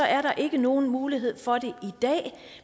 er der ikke nogen mulighed for det i dag